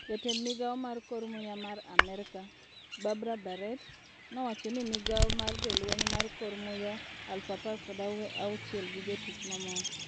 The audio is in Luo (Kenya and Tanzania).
Jatend migao mar kor muya mar Amerka, Barbara Barrett, nowachoni migao mar jolweny mar kor muya 16,000 gi jotich mamoko.